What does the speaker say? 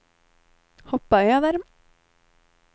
hoppa över